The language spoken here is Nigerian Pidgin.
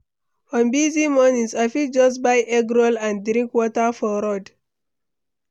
On busy mornings, I fit just buy egg roll and drink water for road.